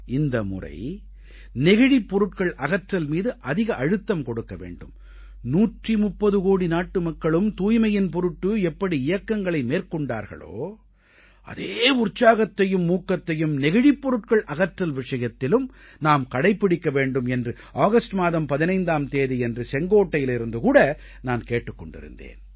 இந்த முறை நெகிழிப் பொருட்கள் அகற்றல் மீது அதிக அழுத்தம் கொடுக்க வேண்டும் 130 கோடி நாட்டுமக்களும் தூய்மையின் பொருட்டு எப்படி இயக்கங்களை மேற்கொண்டார்களோ அதே உற்சாகத்தையும் ஊக்கத்தையும் நெகிழிப் பொருட்கள் அகற்றல் விஷயத்திலும் நாம் கடைப்பிடிக்க வேண்டும் என்று ஆகஸ்ட் மாதம் 15ஆம் தேதியன்று செங்கோட்டையிலிருந்து கூட நான் கேட்டுக் கொண்டிருந்தேன்